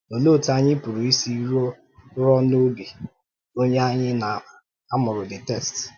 Òlee otú anyị pụrụ isi rùo n’obi onye anyị na-amụrụ the text?